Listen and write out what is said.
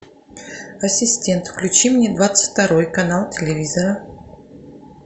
ассистент включи мне двадцать второй канал телевизора